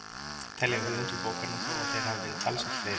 Telja höfundar bókarinnar þó að þeir hafi verið talsvert fleiri.